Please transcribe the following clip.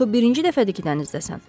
Axı birinci dəfədir ki, dənizdəsən.